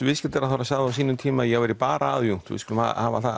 viðskiptaráðherra sagði á sínum tíma að ég væri bara aðjúnkt við skulum hafa það